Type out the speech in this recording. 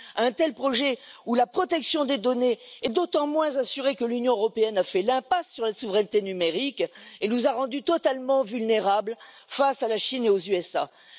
De tels projets où la protection des données est d'autant moins assurée que l'Union européenne a fait l'impasse sur la souveraineté numérique et nous a rendus totalement vulnérables face à la Chine et aux états Unis.